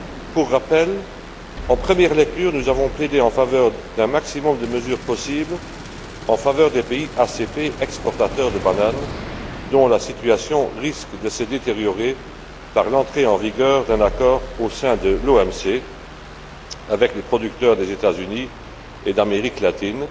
Pour rappel, nous avons plaidé, en première lecture, en faveur d'un maximum de mesures possibles en faveur des pays ACP exportateurs de bananes, dont la situation risque de se détériorer par l'entrée en vigueur d'un accord, au sein de l'OMC, avec les producteurs des États Unis et d'Amérique latine,